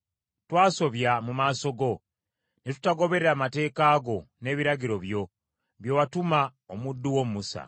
Twasobya mu maaso go, ne tutagoberera mateeka go n’ebiragiro byo bye watuma omuddu wo Musa.